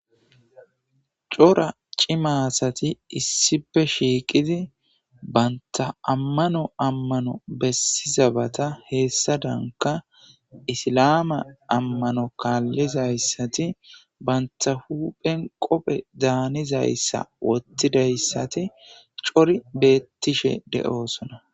cora cima asati issipe shiiqidi banta ammano ammano bessizabata heessadanka isilaama ammano kaallizayssati banta huuphen qophe daanizayssa wottidayssati cori beettishe de7oosona